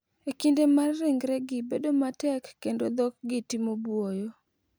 e kinde ma ringregi bedo matek kendo dhokgi timo buoyo.